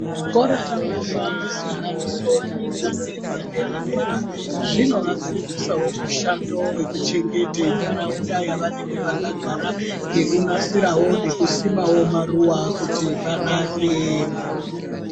Zvikora zvinopa majaha nendombi fundo yepadera zvinovafundisawo mushando wekuchengete ntaraunda yavo yevanenge vakagara ngekunasirawo nekusimawo maruwa kuti panake.